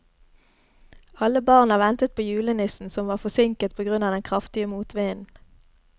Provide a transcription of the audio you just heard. Alle barna ventet på julenissen, som var forsinket på grunn av den kraftige motvinden.